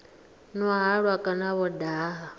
nwa halwa kana vho daha